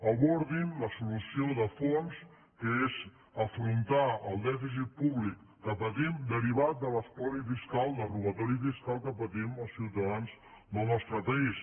abordin la solució de fons que és afrontar el dèficit públic que patim derivat de l’espoli fiscal del robato·ri fiscal que patim els ciutadans del nostre país